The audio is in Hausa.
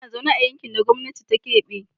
Ina zaune a yankin da gwamnati ta kebe.